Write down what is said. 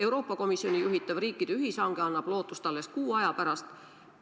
Euroopa Komisjoni juhitav riikide ühishange annab lootust alles kuu aja pärast.